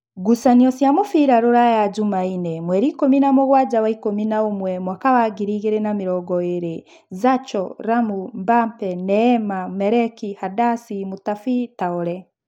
Ngucanio cia mũbira Ruraya Jumaine mweri ikũmi na mũgwanja wa ikũmi na ũmwe mwaka wa ngiri igĩrĩ na namĩrongoĩrĩ: Zacho, Ramu, Mbambe, Neema, Mareki, Handasi, Mutabi, Taore